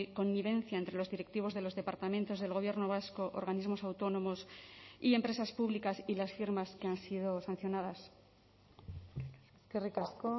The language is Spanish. connivencia entre los directivos de los departamentos del gobierno vasco organismos autónomos y empresas públicas y las firmas que han sido sancionadas eskerrik asko